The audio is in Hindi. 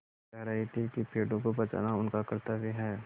वे कह रहे थे कि पेड़ों को बचाना उनका कर्त्तव्य है